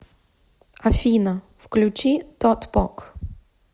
афина включи тотпок